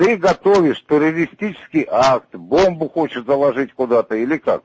ты готовишь террористический акт бомбу хочешь заложить куда-то или как